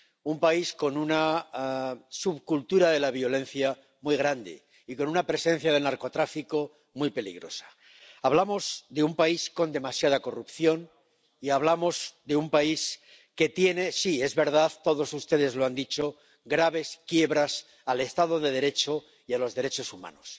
un país con una subcultura de la violencia muy grande y con una presencia del narcotráfico muy peligrosa. Hablamos de un país con demasiada corrupción y hablamos de un país que tiene —sí, es verdad, todos ustedes lo han dicho— graves quiebras del Estado de Derecho y de los derechos humanos.